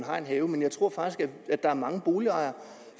har en have men jeg tror faktisk at der er mange boligejere